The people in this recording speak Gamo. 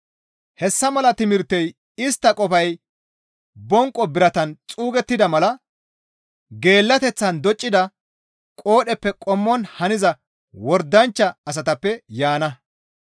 Hessa mala timirtey istta qofay bonqo biratan xuugettida mala geellateththan doccida qoodheppe qommon haniza wordanchcha asatappe yaana.